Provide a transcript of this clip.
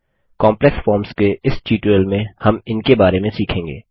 complex जटिल forms के इस ट्यूटोरियल में हम इनके बारे में सीखेंगे